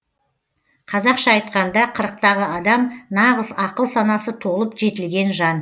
қазақша айтқанда қырықтағы адам нағыз ақыл санасы толып жетілген жан